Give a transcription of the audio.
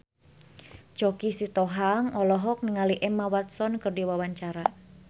Choky Sitohang olohok ningali Emma Watson keur diwawancara